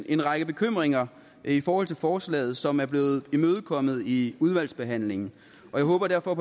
en række bekymringer i forhold til forslaget som er blevet imødekommet i udvalgsbehandlingen og jeg håber derfor at